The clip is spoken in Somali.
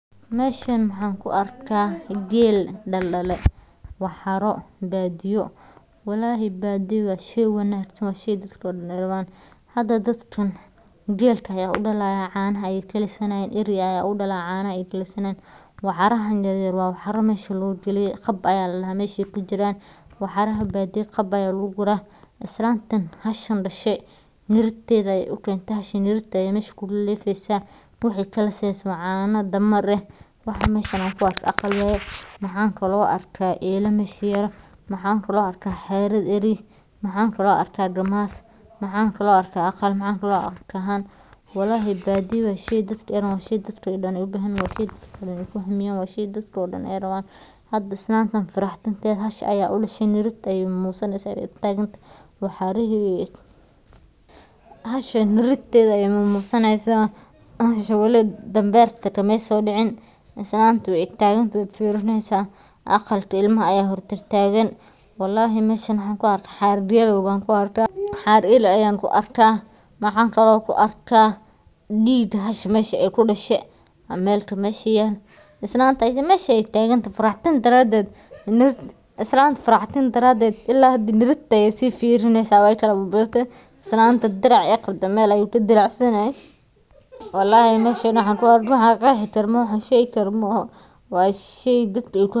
Geela Soomaaliyeed, oo ah noole si weyn ugu dhex milmay dhaqanka, dhaqaalaha, iyo nolosha miyiga ee dadka Soomaaliyeed, ayaa leh astaamo gaar ah oo ka dhigaya mid ka duwan geela kale ee caalamka, sida adkaysiga uu u leeyahay kulaylaha daran ee saxaraha, awoodda uu u leeyahay inuu cabo biyo aad u yar muddo dheer, iyo caanihiisa hodanka ah ee ka buuxa nafaqooyin muhiim ah sida kalsiyumka, fiitamiinada, iyo borotiinka; geelu sidoo kale waxa uu door weyn ka ciyaaraa dhaqaalaha reer miyiga, maadaama laga helo caano, hilib, harag, iyo xitaa dhoof ahaan loo iibgeeyo suuqyada dibadda, halka ay sidoo kale kaalin mug leh ku leeyihiin dhaqanka iyo suugaanta Soomaaliyeed oo uu geelu yahay astaanta samirka, adkeysiga, iyo hodantinimada.